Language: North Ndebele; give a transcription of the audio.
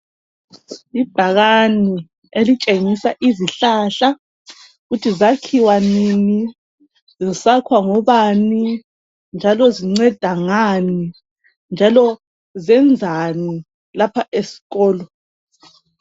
Ibhakani elitshengisa izihlahla ukuthi zakhiwa nini. Zisakhwa ngobani ,zinceda ngani .Njalo zenzani lapha esikolo.